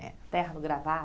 É, terno e gravata